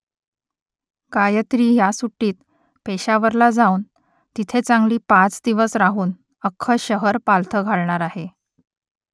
गायत्री ह्या सुट्टीत पेशावरला जाऊन तिथे चांगली पाच दिवस राहून अख्खं शहर पालथं घालणार आहे